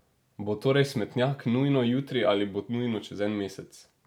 Bo torej smetnjak nujno jutri ali bo nujno čez en mesec?